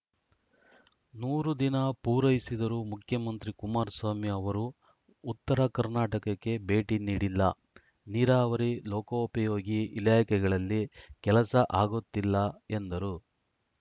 ನೂರು ದಿನ ಪೂರೈಸಿದರೂ ಮುಖ್ಯಮಂತ್ರಿ ಕುಮಾರಸ್ವಾಮಿ ಅವರು ಉತ್ತರ ಕರ್ನಾಟಕಕ್ಕೆ ಭೇಟಿ ನೀಡಿಲ್ಲ ನೀರಾವರಿ ಲೋಕೋಪಯೋಗಿ ಇಲಾಖೆಗಳಲ್ಲಿ ಕೆಲಸ ಆಗುತ್ತಿಲ್ಲ ಎಂದರು